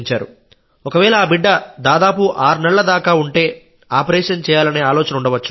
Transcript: ఒకవేళ ఆ బిడ్డ దాదాపు ఆరు నెలల దాకా ఉంటే ఆపరేషన్ చేయాలనే ఆలోచన ఉండవచ్చు